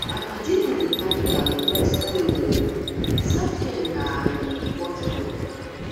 my paddy no dey carry her um rest play um o selfcare na her um watch word